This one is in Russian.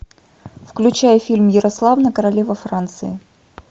включай фильм ярославна королева франции